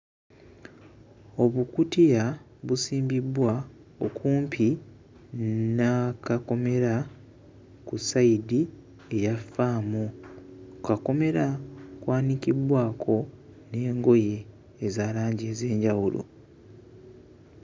Obukutiya busimbiddwa okumpi n'akakomera ku siyidi eya faamu. Ku kakomera kwanikiddwako n'engoye eza langi ez'enjawulo.